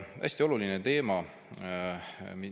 Hästi oluline teema.